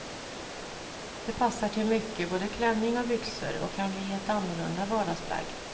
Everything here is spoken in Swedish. Det passar till mycket, både klänning och byxor, och kan bli ett annorlunda vardagsplagg.